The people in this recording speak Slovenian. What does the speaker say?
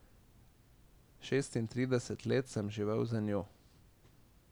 Šestintrideset let sem živel z njo.